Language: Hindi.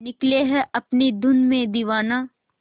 निकले है अपनी धुन में दीवाना